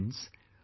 Friends,